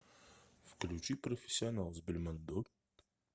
включи профессионал с бельмондо